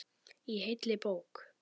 Í heilli bók.